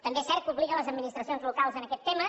també és cert que obliga les administracions locals en aquest tema